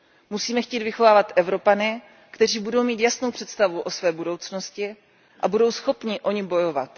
Musíme chtít vychovávat Evropany, kteří budou mít jasnou představu o své budoucnosti a budou schopni o ni bojovat.